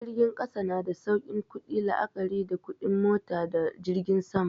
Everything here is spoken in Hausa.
Jirgin ƙasa na da saukin ƙudi la'akari da kuɗin mota da jirgin sama.